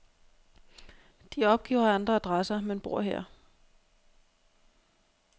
De opgiver andre adresser, men bor her.